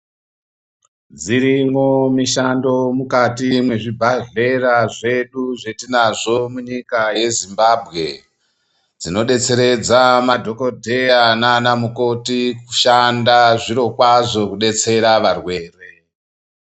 Dzirimwo mishando mukati mwazvibhadhlera zvedu zvatinazvo munyika yeyezimbambwe. Dzinobetseredza madhogodheya nana mukoti kushanda zvirokwazvo kubetsera varwere.